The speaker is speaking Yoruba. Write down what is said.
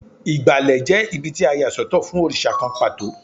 Ìgbàlẹ̀ jẹ́ ibí tí a yà sọ́tọ̀ fún òrìṣà kan pàtó.